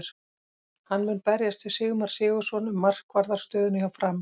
Hann mun berjast við Sigmar Sigurðarson um markvarðar stöðuna hjá Fram.